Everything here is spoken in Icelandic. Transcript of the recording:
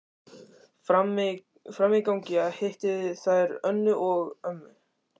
Frammi í gangi hittu þær Önnu, mömmu